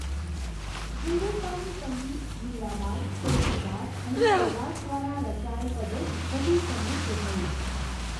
હિંદુસ્તાની સંગીત મીરાબાઈ તુલસીદાસ અને સુરદાસ દ્વારા રચાયેલ પદોથી વધુ સમૃદ્ધ થયું.